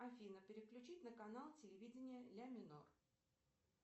афина переключить на канал телевидения ля минор